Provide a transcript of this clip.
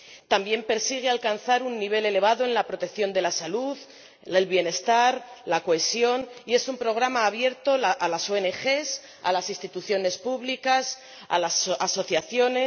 También persigue alcanzar un nivel elevado en la protección de la salud, el bienestar, la cohesión, y es un programa abierto a las ONG, a las instituciones públicas, a las asociaciones.